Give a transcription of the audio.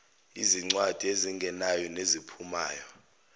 ezincwadi ezingenayo neziphumayo